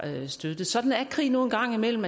støttet sådan er krig nu en gang imellem